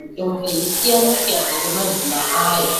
mitombo yakwana yeisiyana-siyana ngemazina ayo.